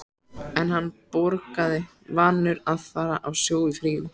En hann borgaði, vanur að fara á sjó í fríum.